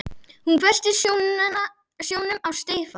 Hún hvessti sjónum á Stefán.